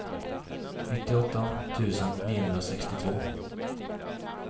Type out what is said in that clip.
nittioåtta tusen niohundrasextiotvå